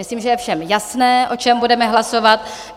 Myslím, že je všem jasné, o čem budeme hlasovat.